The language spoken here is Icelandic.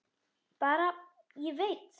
Bara: Ég veit.